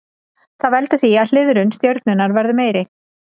Það veldur því að hliðrun stjörnunnar verður meiri.